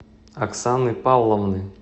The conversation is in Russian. оксаны павловны